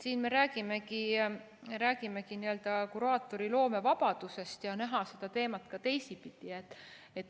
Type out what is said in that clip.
Siin me räägimegi n‑ö kuraatori loomevabadusest ja näha seda teemat ka teisipidi.